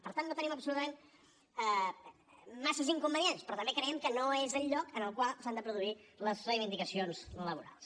per tant no tenim absolutament massa inconvenients però també creiem que no és el lloc en el qual s’han de produir les reivindicacions laborals